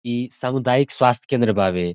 ई सामुदायिक स्वास्थ्य केंद्र बावे।